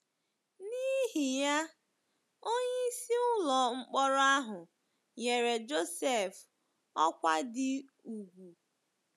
N’ihi ya, onyeisi ụlọ mkpọrọ ahụ nyere Josef ọkwa dị ùgwù.